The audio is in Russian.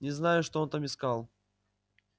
не знаю что он там искал